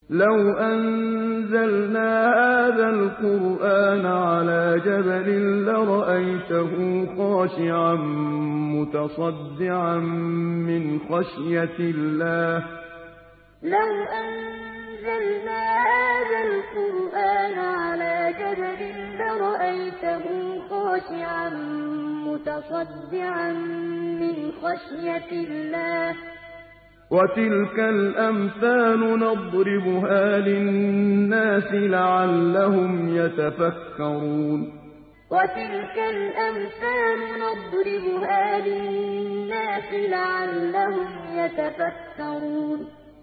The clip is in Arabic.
لَوْ أَنزَلْنَا هَٰذَا الْقُرْآنَ عَلَىٰ جَبَلٍ لَّرَأَيْتَهُ خَاشِعًا مُّتَصَدِّعًا مِّنْ خَشْيَةِ اللَّهِ ۚ وَتِلْكَ الْأَمْثَالُ نَضْرِبُهَا لِلنَّاسِ لَعَلَّهُمْ يَتَفَكَّرُونَ لَوْ أَنزَلْنَا هَٰذَا الْقُرْآنَ عَلَىٰ جَبَلٍ لَّرَأَيْتَهُ خَاشِعًا مُّتَصَدِّعًا مِّنْ خَشْيَةِ اللَّهِ ۚ وَتِلْكَ الْأَمْثَالُ نَضْرِبُهَا لِلنَّاسِ لَعَلَّهُمْ يَتَفَكَّرُونَ